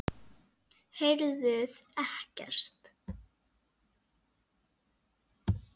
Heyrðuð ekkert?